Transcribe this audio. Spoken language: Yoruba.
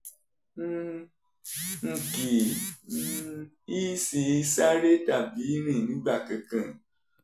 um n kì um í sì í sáré tàbí rìn nígbà kankan